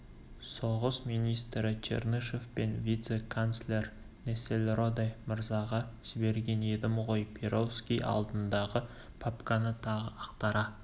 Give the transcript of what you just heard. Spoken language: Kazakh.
соғыс министрі чернышев пен вице-канцлер нессельроде мырзаға жіберген едім ғой перовский алдындағы папканы тағы ақтара